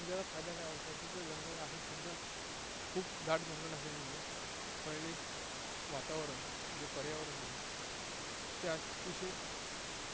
मग त्याचा फायदा काय व्हायचा की, ते जंगल आहे खूप दाट, खूप दाट जंगल असल्यामुळे पहिले वातावरण, जे पर्यावरण होतं ते अतिशय